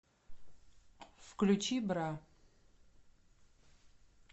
включи бра